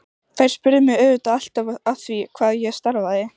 Þær spurðu mig auðvitað alltaf að því hvað ég starfaði.